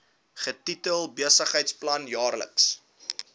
getitel besigheidsplan jaarlikse